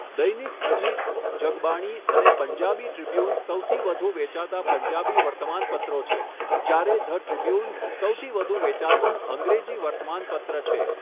દૈનિક અજીત, જગબાણી અને પંજાબી ટ્રિબ્યૂન સૌથી વધુ વેચાતા પંજાબી વર્તમાનપત્રો છે, જ્યારે ધ ટ્રિબ્યૂન સૌથી વધુ વેચાતું અંગ્રેજી વર્તમાનપત્ર છે.